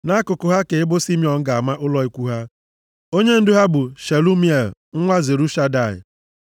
Nʼakụkụ ha ka ebo Simiọn ga-ama ụlọ ikwu ha. Onyendu ha bụ Shelumiel nwa Zurishadai.